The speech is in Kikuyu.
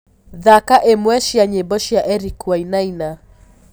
thaka imwe cĩa nyĩmbo cĩa Eric wainaina